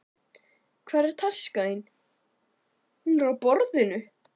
Hvar er taskan þín? Hún er á borðinu.